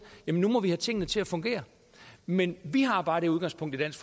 jamen nu må vi have tingene til at fungere men vi har bare det udgangspunkt i dansk